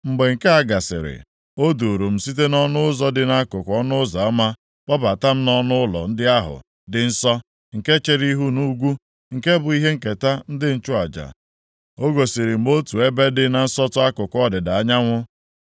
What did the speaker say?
Mgbe nke a gasịrị, o duuru m site nʼọnụ ụzọ dị nʼakụkụ ọnụ ụzọ ama kpọbata m nʼọnụụlọ ndị ahụ dị nsọ, nke chere ihu nʼugwu, nke bụ ihe nketa ndị nchụaja. O gosiri m otu ebe dị na nsọtụ akụkụ ọdịda anyanwụ.